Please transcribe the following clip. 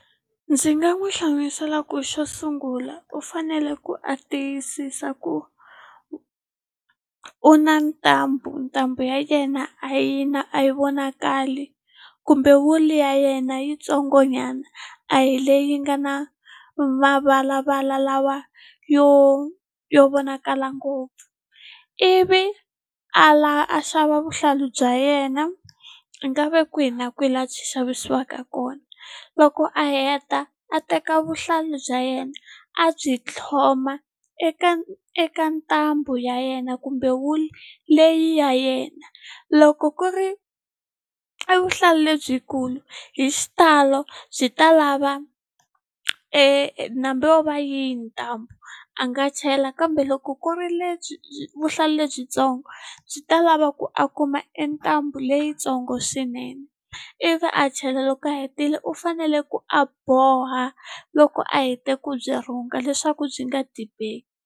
Ndzi nga n'wi hlamusela ku xo sungula u fanele ku a tiyisisa ku u na ntambu ntambu ya yena a yi na a yi vonakali kumbe wulu ya yena yitsongo nyana a hi leyi nga na mavalavala lawa yo yo vonakala ngopfu ivi a a xava vuhlalu bya yena a nga ve kwihi na kwihi laha swi xavisiwaka kona loko a heta a teka vuhlalu bya a yena a byi tlhloma eka eka ntambu ya yena kumbe wulu leyi ya yena loko ku ri i vuhlalu lebyikulu hi xitalo byi ta lava e yo va yini ntambu a nga chela kambe loko ku ri lebyi vuhlalu lebyitsongo byi ta lava ku a kuma e ntambu leyintsongo swinene ivi a chela loko a hetile u fanele ku a boha loko a hete ku byi rhunga leswaku byi nga dibeki.